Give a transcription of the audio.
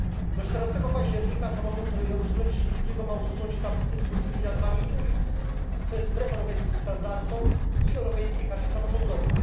Do 14 października samorząd regionu solecznickiego ma usunąć tablice z polskimi nazwami ulic, co jest wbrew europejskim standardom i Europejskiej karcie samorządowej.